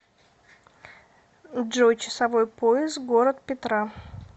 джой часовой пояс город петра